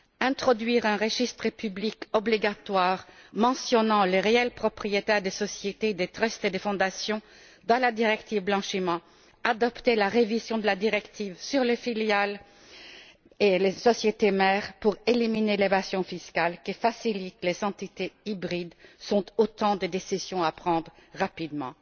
Introduire un registre public obligatoire mentionnant les véritables propriétaires des sociétés, des trusts et des fondations dans la directive blanchiment, adopter la révision de la directive sur les filiales et les sociétés mères pour éliminer l'évasion fiscale que facilitent les entités hybrides sont autant de décisions à prendre rapidement.